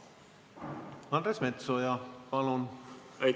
Andres Metsoja, palun!